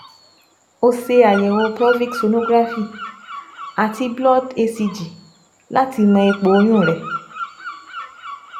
O ṣe àyẹ̀wò pelvic sonography/blood HCG láti mọ ipò oyún rẹ